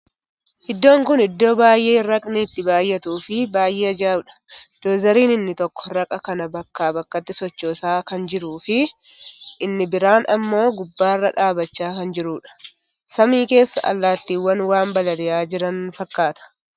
Iddoon kuni iddoo baay'ee raqni itti baay'atuu fii baay'ee ajaa'udha. Doozariin inni tokko raqa kana bakkaa bakkatti sochoosa kan jiruu fii inni biraa immoo gubbarra dhaabbachaa kan jiruudha. Samii keessa allaattiwwan waan balali'aa jiran fakkaata.